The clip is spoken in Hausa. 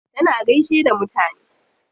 Tana gaishe da mutane.